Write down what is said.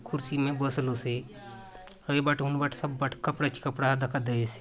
कुर्सी में बसलो से अउर ए बाट हुन बाट सब बाटे कपड़ा ची कपड़ा दखा देयसे।